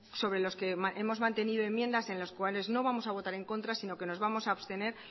sobre los que hemos mantenido enmiendas en los cuales no vamos a votar en contra sino que nos vamos a abstener